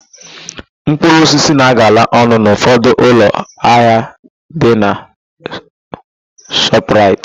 Mkpụrụosisi na-agala ọnụ n'ụfọdụ ụlọ ahịa ndị nọ na Shọpraịt.